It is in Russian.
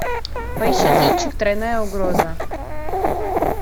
поищи кинчик тройная угроза